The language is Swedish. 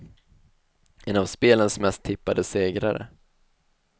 En av spelens mest tippade segrare.